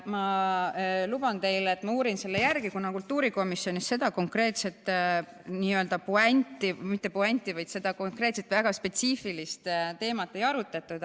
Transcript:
Ma luban teile, et ma uurin selle järele, kuna kultuurikomisjonis seda konkreetset puänti, õigemini mitte puänti, vaid seda konkreetset väga spetsiifilist teemat ei arutatud.